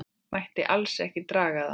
Mætti alls ekki draga það.